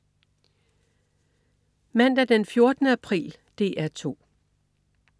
Mandag den 14. april - DR 2: